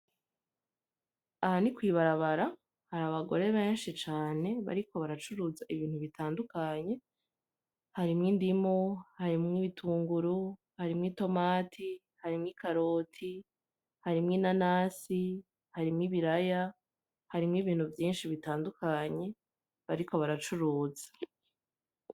Aha ni kw'ibarabara hari abagore benshi cane bariko baracuruza ibintu bitandukanye harimwo indimu harimwo ibitunguru harimwo itomati harimwo ikaroti harimwo inanasi harimwo ibiraya harimwo ibintu vyinshi bitandukanye bariko baracuruza .